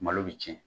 Malo bɛ tiɲɛ